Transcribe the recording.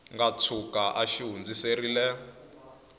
nga tshuka a xi hundziserile